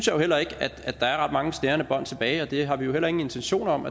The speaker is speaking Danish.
jo heller ikke at der er ret mange snærende bånd tilbage og det har vi heller ingen intentioner om